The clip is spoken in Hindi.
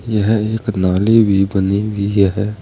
यह एक नाली भी बनी हुई है।